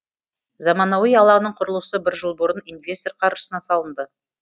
заманауи алаңның құрылысы бір жыл бұрын инвестор қаржысына салынды